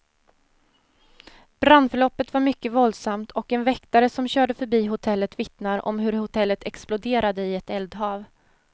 Brandförloppet var mycket våldsamt, och en väktare som körde förbi hotellet vittnar om hur hotellet exploderade i ett eldhav.